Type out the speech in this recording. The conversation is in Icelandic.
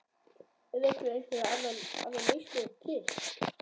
Eru ekki einhverjar aðrar lausnir til?